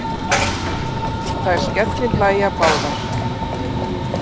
Þær skellihlæja báðar.